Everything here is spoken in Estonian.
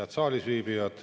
Head saalis viibijad!